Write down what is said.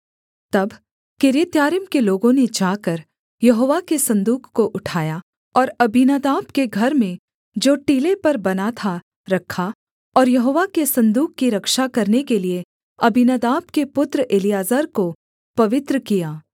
तब किर्यत्यारीम के लोगों ने जाकर यहोवा के सन्दूक को उठाया और अबीनादाब के घर में जो टीले पर बना था रखा और यहोवा के सन्दूक की रक्षा करने के लिये अबीनादाब के पुत्र एलीआजर को पवित्र किया